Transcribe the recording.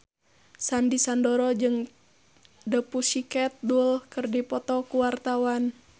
Sandy Sandoro jeung The Pussycat Dolls keur dipoto ku wartawan